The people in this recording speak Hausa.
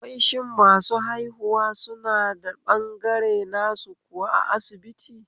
Wai shin masu haihuwa suna da ɓangare nasu kuwa a asibiti?